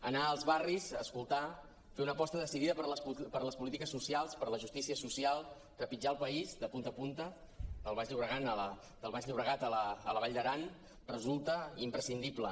anar als barris a escoltar fer una aposta decidida per les polítiques socials per la justícia social trepitjar el país de punta a punta del baix llobregat a la vall d’aran resulta imprescindible